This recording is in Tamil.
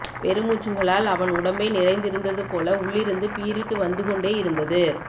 பெருமூச்சுக்களால் அவன் உடம்பே நிறைந்திருந்தது போல உள்ளிருந்து பீரிட்டு வந்துகொண்டே இருந்தது